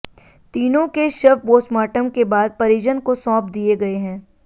तीनों के शव पोस्टमार्टम के बाद परिजन को सौंप दिए गए हैं